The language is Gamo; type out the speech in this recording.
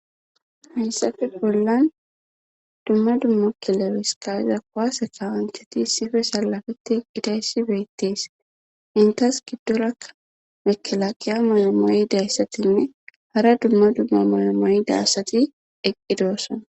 Hayssafe bollan dumma dumma kileriskaza kwase kawanchati sife sallafeti eqqitaysi beettees intas giddorakka mekelaaqiya malamaydayssatinne hara dumma dumma malamayida asati eqqidoossana